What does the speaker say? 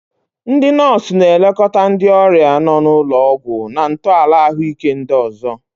Ndị nọọsụ na-elekọta ndị ọrịa nọ n'ụlọ ọgwụ na ntọala ahụike ndị ọzọ.